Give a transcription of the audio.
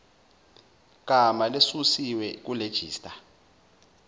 gama lesusiwe kulejista